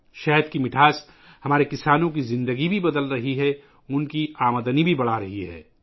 شہد کی مٹھاس بھی ہمارے کسانوں کی زندگی بدل رہی ہے، ان کی آمدنی میں اضافہ کر رہی ہے